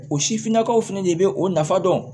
O sifinnakaw fɛnɛ de be o nafa dɔn